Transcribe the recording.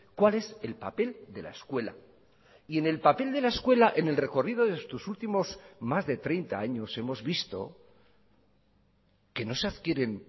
cuál es el papel de la escuela y en el papel de la escuela en el recorrido de estos últimos más de treinta años hemos visto que no se adquieren